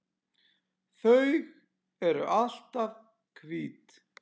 Þau eru alltaf hvít.